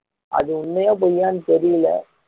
அது உண்மையா பொய்யான்னு தெரியல